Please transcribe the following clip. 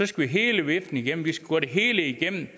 skal hele viften igennem vi skal gå det hele igennem